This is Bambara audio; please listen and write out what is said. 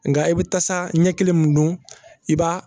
Nka i bɛ taasa ɲɛ kelen mun don i b'a